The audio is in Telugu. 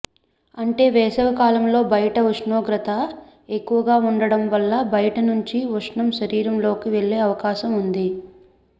అంటే వేసవికాలంలో బయటి ఉష్ణోగ్రత ఎక్కువగా వుండడం వల్ల బయటి నుంచి ఉష్ణం శరీరంలోకి వెళ్లే అవకాశం వుంది